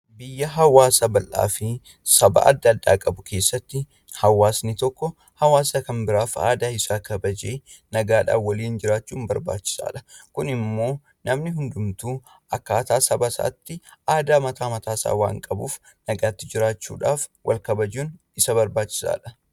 Biyya saba adda addaa fi hawaasa garagaraa qabu kaassatti hawwasni tokko aadaa hawaasa kan biraa kabajee haala nagaa ta'een waliin jiraachuun baay'ee barbaachisaadha. Kun immoo immoo hawaasni hundumtuu aadaa mataa isaa akka saba isaatti waan qabuuf wal kabajanii waliin jiraachuun baay'ee barbaachisaadha.